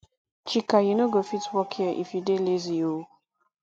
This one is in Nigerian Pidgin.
chika you no go fit work here if you dey lazy oo